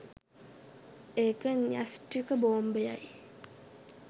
එක නයිෂ්ටික බෝම්බයයි